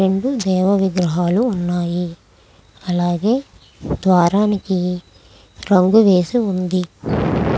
రెండు దేవా విగ్రహాలు ఉన్నాయి. అలాగే ద్వారానికి రంగు వేసి ఉంది.